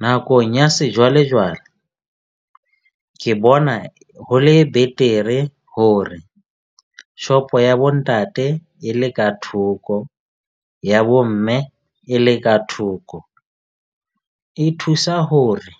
Nakong ya sejwalejwale ke bona ho le betere hore shop-o ya bo ntate e le ka thoko ya bo mme e le ka thoko. E thusa hore